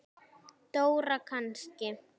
Dóra kannski? sagði Milla.